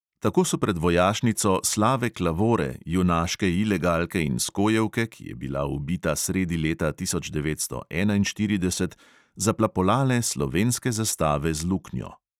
Tako so pred vojašnico slave klavore, junaške ilegalke in skojevke, ki je bila ubita sredi leta tisoč devetsto enainštirideset, zaplapolale slovenske zastave z luknjo.